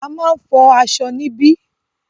A máà ń fọ aṣọ níbí.